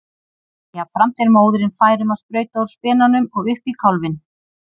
Jafnframt er móðirin fær um að sprauta úr spenanum og upp í kálfinn.